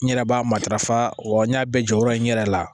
N yɛrɛ b'a matarafa wa n y'a bɛɛ jɔyɔrɔ ye n yɛrɛ la